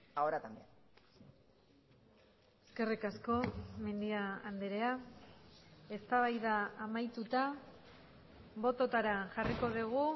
ahora también eskerrik asko mendia andrea eztabaida amaituta bototara jarriko dugu